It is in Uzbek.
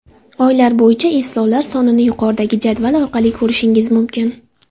Oylar bo‘yicha eslovlar sonini yuqoridagi jadval orqali ko‘rishingiz mumkin.